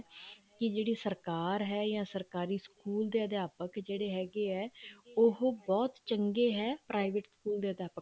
ਕੀ ਜਿਹੜੀ ਸਰਕਾਰ ਹੈ ਜਾਂ ਸਰਕਾਰੀ ਸਕੂਲ ਦੇ ਅਧਿਆਪਕ ਜਿਹੜੇ ਹੈਗੇ ਆ ਉਹ ਬਹੁਤ ਚੰਗੇ ਹੈ private ਸਕੂਲ ਦੇ ਅਧਿਆਪਕ